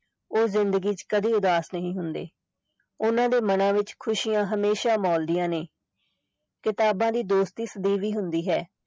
ਉਹ ਜ਼ਿੰਦਗੀ ਚ ਕਦੇ ਉਦਾਸ ਨਹੀਂ ਹੁੰਦੇ ਉਹਨਾਂ ਦੇ ਮਨਾਂ ਵਿੱਚ ਖ਼ੁਸ਼ੀਆਂ ਹਮੇਸ਼ਾ ਮੋਲਦੀਆਂ ਨੇ ਕਿਤਾਬਾਂ ਦੀ ਦੋਸਤੀ ਸਦੀਵੀ ਹੁੰਦੀ ਹੈ